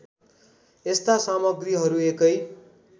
यस्ता सामग्रीहरू एकै